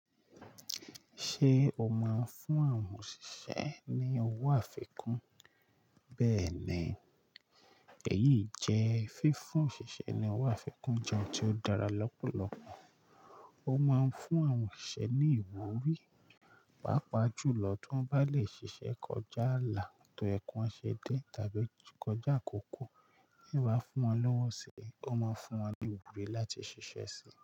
Ṣé o máa ń fún àwọn òṣìṣẹ́ ní owó àfikún? Bẹ́ẹ̀ni, èyí jẹ́ fífún òṣìṣẹ́ ní owó àfikún jẹ́ ohun tí ó dára lọ́pọ̀lọpọ̀. Ó máa ń fún àwọn òṣìṣẹ́ ní ìwúrí, pàápàá jù lọ tí wọ́n bá lè ṣiṣẹ́ kọjá àlà tó ye kiwon se dé tàbí kọjá àkókò. Te yan ba fún wọn lówó si, ó máa ń fún wọn ní ìwúrí láti ṣiṣẹ́ síi.